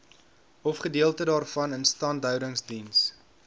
ofgedeelte daarvan instandhoudingsdiens